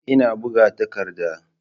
Ina buga takardar.